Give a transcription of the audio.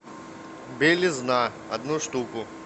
белизна одну штуку